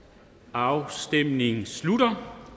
afstemningen slutter